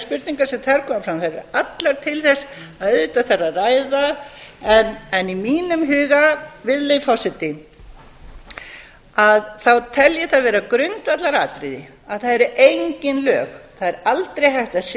spurningar sem þar koma fram eru allar til þess að auðvitað þarf að ræða en í mínum huga tel ég það vera grundvallaratriði að það eru engin lög það er aldrei hægt að